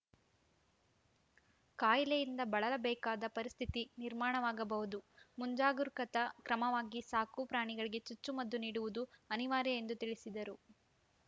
ಕಾಯಿಲೆಯಿಂದ ಬಳಲಬೇಕಾದ ಪರಿಸ್ಥಿತಿ ನಿರ್ಮಾಣವಾಗಬಹುದು ಮುಂಜಾಗರೂಕತಾ ಕ್ರಮವಾಗಿ ಸಾಕು ಪ್ರಾಣಿಗಳಿಗೆ ಚುಚ್ಚುಮದ್ದು ನೀಡುವುದು ಅನಿವಾರ್ಯ ಎಂದು ತಿಳಿಸಿದರು